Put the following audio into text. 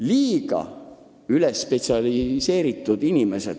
Liiga ülespetsialiseeritud inimesed!